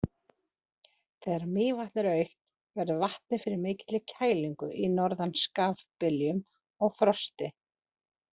Þegar Mývatn er autt, verður vatnið fyrir mikilli kælingu í norðan skafbyljum og frosti.